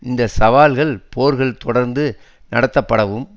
இந்த சவால்கள் போர்கள் தொடர்ந்து நடத்தப்படவும்